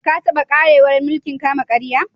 Ka taba kwarewar mulki'n kama-karya?